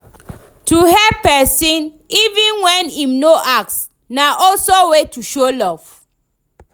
To help persin even when im no ask na also way to show love